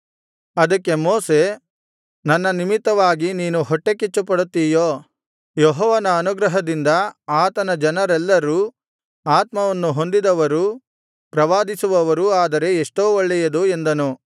ಅದಕ್ಕೆ ಮೋಶೆ ನನ್ನ ನಿಮಿತ್ತವಾಗಿ ನೀನು ಹೊಟ್ಟೆಕಿಚ್ಚುಪಡುತ್ತೀಯೋ ಯೆಹೋವನ ಅನುಗ್ರಹದಿಂದ ಆತನ ಜನರೆಲ್ಲರೂ ಆತ್ಮವನ್ನು ಹೊಂದಿದವರೂ ಪ್ರವಾದಿಸುವವರೂ ಆದರೆ ಎಷ್ಟೋ ಒಳ್ಳೆಯದು ಎಂದನು